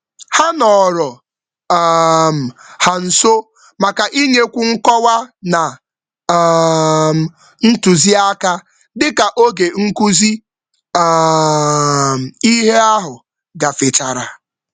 Ha sochiri mgbe ogbako um ahụ gasịrị iji nye nghọta ndị ọzọ na ndụmọdụ mmepe.